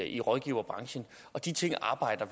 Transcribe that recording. i rådgiverbranchen de ting arbejdes